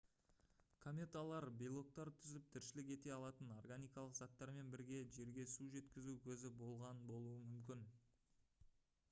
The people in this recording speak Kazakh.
кометалар белоктар түзіп тіршілік ете алатын органикалық заттармен бірге жерге су жеткізу көзі болған болуы мүмкін